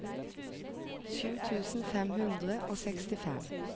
sju tusen fem hundre og sekstifem